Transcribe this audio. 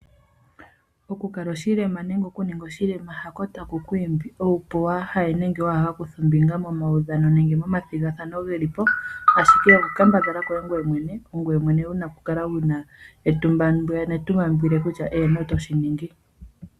Okukala oshilema nenge okuninga oshilema hako taku ku imbi opo waaha ye nenge wa ha kuthe ombinga momaudhano nenge momathigathano geli po ashike okukambadhala koye ngoye mwene ongoye mwene wu na okukala wu na etumba kutya eeno oto shi ningi.